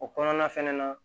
O kɔnɔna fɛnɛ na